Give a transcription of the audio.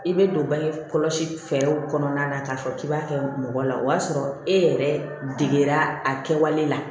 I bɛ don bange kɔlɔsi fɛɛrɛw kɔnɔna na k'a fɔ k'i b'a kɛ mɔgɔ la o y'a sɔrɔ e yɛrɛ degera a kɛwale la